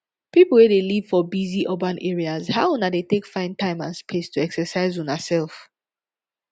people wey dey live for busy urban areas how una dey take find time and space to exercise una self